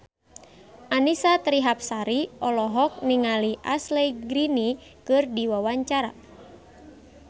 Annisa Trihapsari olohok ningali Ashley Greene keur diwawancara